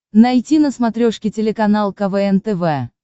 найти на смотрешке телеканал квн тв